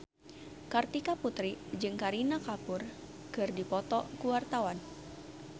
Kartika Putri jeung Kareena Kapoor keur dipoto ku wartawan